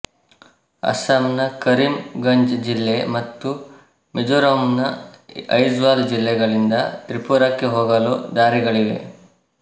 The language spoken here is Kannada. ಅಸ್ಸಾಮ್ ನ ಕರೀಮ್ ಗಂಜ್ ಜಿಲ್ಲೆ ಮತ್ತು ಮಿಜೊರಂನ ಐಜ್ವಾಲ್ ಜಿಲ್ಲೆಗಳಿಂದ ತ್ರಿಪುರಾಕ್ಕೆ ಹೋಗಲು ದಾರಿಗಳಿವೆ